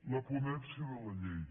la ponència de la llei